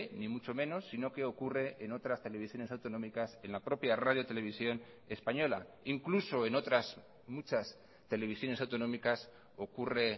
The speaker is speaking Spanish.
ni mucho menos sino que ocurre en otras televisiones autonómicas en la propia radio televisión española incluso en otras muchas televisiones autonómicas ocurre